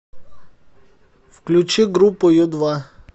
включи группу ю два